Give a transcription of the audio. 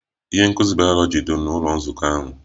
Ihe nkuzi bayoloji dị n'ụlọ nzukọ ahụ